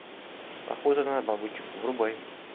охота на бабочек врубай